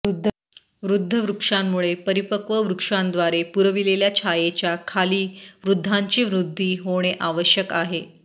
वृद्ध वृक्षांमुळे परिपक्व वृक्षांद्वारे पुरविलेल्या छायेच्या खाली वृद्धांची वृद्धी होणे आवश्यक आहे